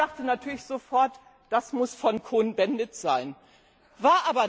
Ich dachte natürlich sofort Das muss von Cohn Bendit stammen.